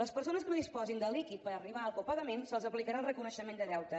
les persones que no disposin de líquid per arribar al copagament se’ls aplicarà el reconeixement de deute